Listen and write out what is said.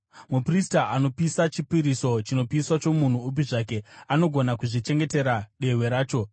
Muprista anopisa chipiriso chinopiswa chomunhu upi zvake anogona kuzvichengetera dehwe racho.